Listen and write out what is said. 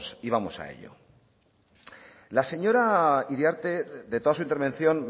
y vamos a ello la señora iriarte de toda su intervención